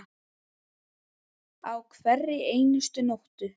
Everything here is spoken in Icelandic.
Á hverri einustu nóttu.